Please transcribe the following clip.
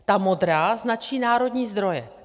Ta modrá značí národní zdroje.